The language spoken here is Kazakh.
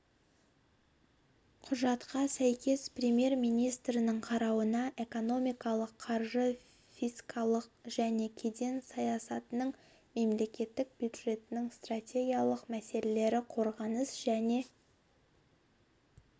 құжатқа сәйкес премьер-министрдің қарауына экономикалық қаржы фискалдық және кеден саясатының мемлекеттік бюджеттің стратегиялық мәселелері қорғаныс және